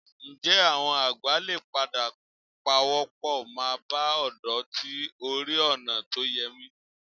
Ǹjẹ́ àwọn àgbà lè padà pawọ́pọ̀ máa bá ọ̀dọ́ tí ò rìn ọ̀nà tó yẹ wí?